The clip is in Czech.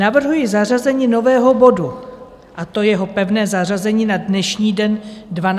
Navrhuji zařazení nového bodu, a to jeho pevné zařazení na dnešní den, 12 hodin.